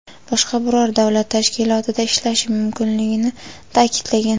boshqa biror davlat tashkilotida ishlashi mumkinligini ta’kidlagan.